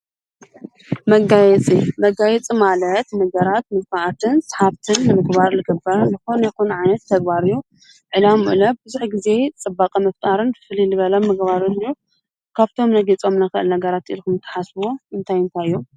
መጋየጺ መጋይፂ ማለት ንገራት ምጥፋዓትን ሰሓብትን ንምግባር ልገበርን ዝኾን ይኹን ዓይነት ተግባርዮ ዒላም ምኡ ብዙኅ ጊዜ ጽባቐ መፍጣርን ፍሊልበለም ምግባሩትልዑ ካብቶም ነጌይጾም ነገራት ኢልኹም ተሓስዎ እንታይንታ ዮም።